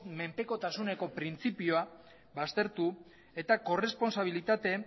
menpekotasuneko printzipioa baztertu eta korrespontsabilitateen